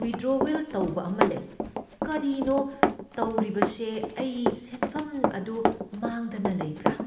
Withdrawal ꯇꯧꯕ ꯑꯃ ꯂꯩ꯫ ꯀꯔꯤꯅꯣ ꯊꯧꯔꯤꯕꯁꯦ? ꯑꯩꯒꯤ ꯁꯦꯟꯐꯝ ꯑꯗꯨ ꯃꯥꯡꯗꯅ ꯂꯩꯕ꯭ꯔꯥ?